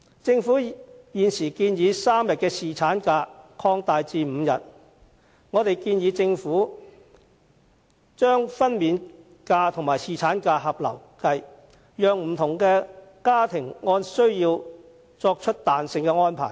政府現時建議把3天的侍產假延長至5天，我們更建議政府把分娩假與侍產假合併，讓不同家庭按需要作出彈性安排。